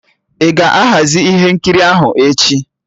Ị ga-ahazi ihe nkiri ahụ echi?